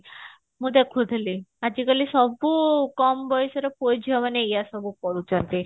ମୁଁ ଦେଖୁଥିଲି ଆଜିକାଲି ସବୁ କମ ବଯସର ପୁଅ ଝିଅ ମାନେ ଏଇଆ ସବୁ କରୁଛନ୍ତି